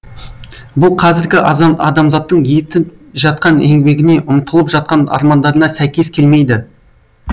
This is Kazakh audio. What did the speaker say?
бұл қазіргі адамзаттың етіп жатқан еңбегіне ұмтылып жатқан армандарына сәйкес келмейді